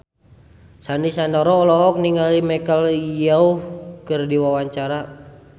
Sandy Sandoro olohok ningali Michelle Yeoh keur diwawancara